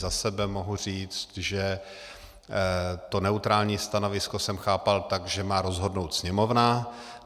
Za sebe mohu říct, že to neutrální stanovisko jsem chápal tak, že má rozhodnout Sněmovna.